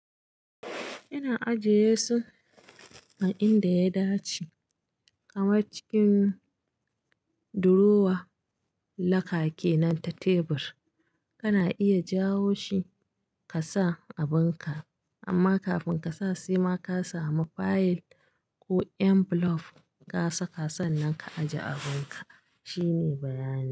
Ina ajiye su a inda ya dace kamar cikin durowa, lakake nan ta tebur. Kana iya jawo shi ka sa abun ka, amma kafin ka sa sai ma ka samu fayil ko envelope ka saka sannan ka ajiye abin ka. Shine bayani.